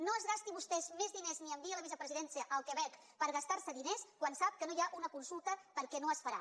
no es gasti vostè més diners ni enviï la vicepresidenta al quebec per gastar se diners quan sap que no hi ha una consulta perquè no es farà